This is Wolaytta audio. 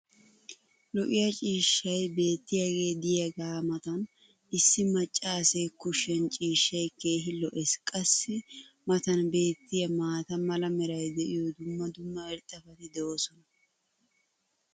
lo'iya ciishshay beetiyaagee diyaaga matan issi macaassee kushiyan ciishshay keehi lo'ees. qassi i matan beetiya maata mala meray diyo dumma dumma irxxabati doosona.